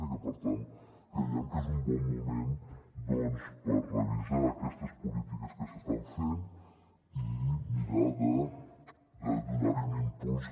i per tant creiem que és un bon moment doncs per revisar aquestes polítiques que s’estan fent i mirar de donar hi un impuls